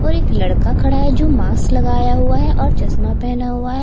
और एक लड़का खड़ा है जो मास्क लगाया हुआ है और चश्मा पहना हुआ हैं।